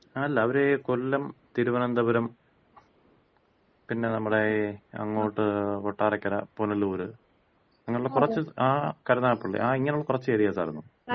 അല്ല, ഇവര് ഈ കൊല്ലം, തിരുവനന്തപുരം പിന്നെ നമ്മുട ഈ അങ്ങോട്ട് കൊട്ടാരക്കര, പുനലൂര് അങ്ങനെയുള്ള കുറച്ച് കരുനാഗപ്പള്ളി ആ ഇങ്ങനെയുള്ള കൊറച്ച് ഏരിയാസ് ആരുന്നു,